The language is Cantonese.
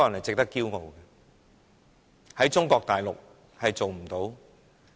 在中國大陸，這是做不到的。